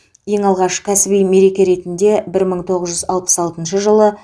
ең алғаш кәсіби мереке ретінде бір мың тоғыз жүз алпыс алтыншы жылы